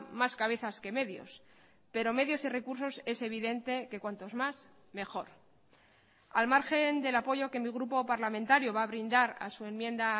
más cabezas que medios pero medios y recursos es evidente que cuantos más mejor al margen del apoyo que mi grupo parlamentario va a brindar a su enmienda